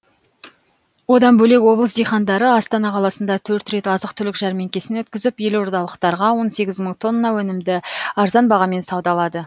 одан бөлек облыс диқандары астана қаласында төрт рет азық түлік жәрмеңкесін өткізіп елордалықтарға он сегіз мың тонна өнімді арзан бағамен саудалады